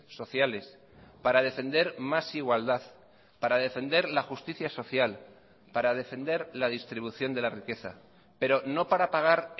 sociales para defender más igualdad para defender la justicia social para defender la distribución de la riqueza pero no para pagar